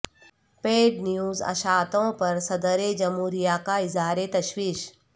paid news اشاعتوں پر صدر جمہوریہ کا اظہار تشویش